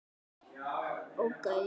Einnig vellir.